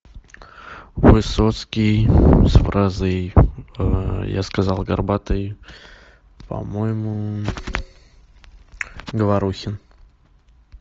высоцкий с фразой я сказал горбатый по моему говорухин